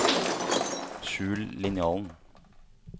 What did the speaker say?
skjul linjalen